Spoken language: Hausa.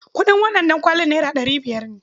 Kuɗin wannan ɗankwali naira ɗari biyar.